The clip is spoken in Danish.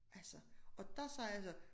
Altså og dér sagde jeg så